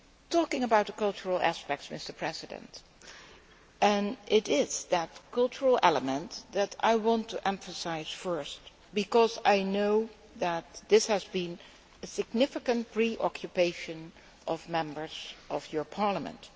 Talking about the cultural aspects, it is that cultural element that I want to emphasise first because I know that this has been a significant preoccupation of Members of your Parliament.